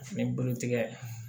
Fini bulu tigɛ